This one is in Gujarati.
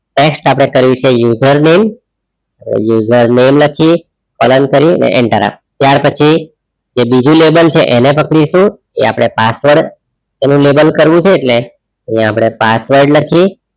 text આપડે કર્યું છે username લખીએ કરીયે અને enter આપીએ ત્યારપછી જે બીજું label છે એને પકડીશું એ આપડે પાછળ એનું label કરવું છે એટલે અહિયાં આપડે પાછળ લખીએ,